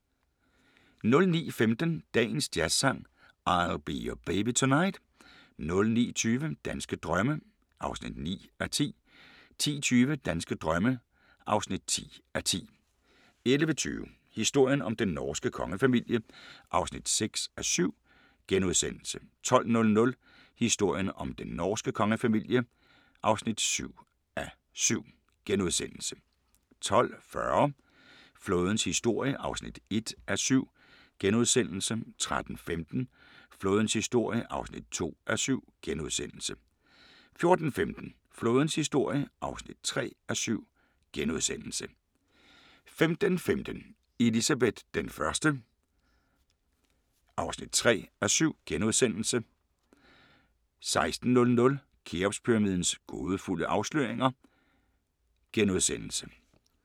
09:15: Dagens Jazzsang: I'll Be Your Baby Tonight 09:20: Danske drømme (9:10) 10:20: Danske drømme (10:10) 11:20: Historien om den norske kongefamilie (6:7)* 12:00: Historien om den norske kongefamilie (7:7)* 12:40: Flådens historie (1:7)* 13:15: Flådens historie (2:7)* 14:15: Flådens historie (3:7)* 15:15: Elizabeth I (1:3)* 16:00: Kheopspyramidens gådefulde afsløringer *